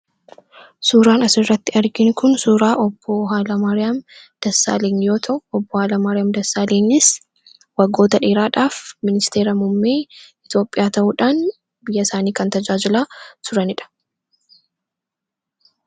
Suuraan as irratti arginuu kun suuraa obboo Haayil Maariyaam Dassaalanyiin yoo ta'u obboo Haayil Maariyaam Dassaalanyiinis waggoota dheeraadhaaf ministeera mummee Itioophiyaa ta'uudhaan biyya isaanii kan tajaajilaa turaniidha.